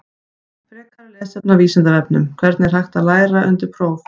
Frekara lesefni á Vísindavefnum: Hvernig er best að læra undir próf?